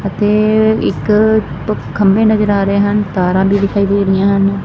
ਅਤੇ ਇੱਕ ਖੰਬੇ ਨਜ਼ਰ ਆ ਰਹੇ ਹਨ ਤਾਰਾਂ ਵੀ ਦਿਖਾਈ ਦੇ ਰਹੀਆਂ ਹਨ।